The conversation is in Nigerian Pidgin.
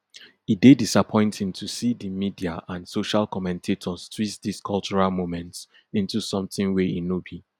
e dey disappointing to see di media and social commentators twist dis cultural moments into something wey e no be